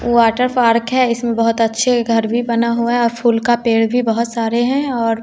water park है इसमें बहुत अच्छे घर भी बना हुआ है और फूल का पेड़ भी बहुत सारे हैं और--